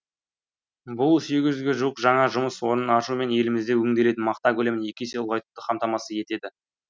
бұл сегіз жүзге жуық жаңа жұмыс орнын ашу мен елімізде өңделетін мақта көлемін екі есе ұлғайтуды қамтамасыз етеді